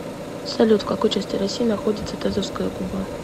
салют в какой части россии находится тазовская губа